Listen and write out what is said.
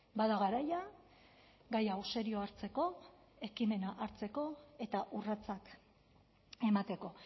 bada garaia gai hau serio hartzeko ekimena hartzeko eta urratsak emateko